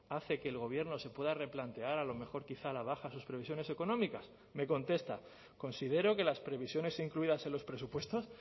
hace que el gobierno se pueda replantear a lo mejor quizá a la baja sus previsiones económicas me contesta considero que las previsiones incluidas en los presupuestos